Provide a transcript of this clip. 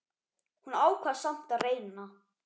Hún ákvað samt að reyna.